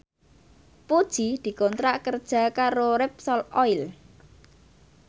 Puji dikontrak kerja karo Repsol Oil